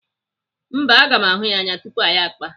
Mba, aga m ahụ ya anya tupu anyị akpa.